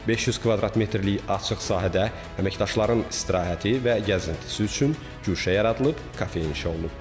500 kvadrat metrlik açıq sahədə əməkdaşların istirahəti və gəzintisi üçün güşə yaradılıb, kafe inşa olunub.